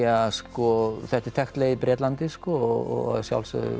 ja sko þetta er þekkt leið í Bretlandi sko og að sjálfsögðu